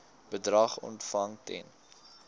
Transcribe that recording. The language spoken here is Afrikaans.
bedrag ontvang ten